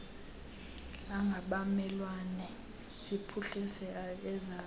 angabamelwane ziphuhlise ezazo